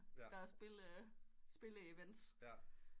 Der er spille spille event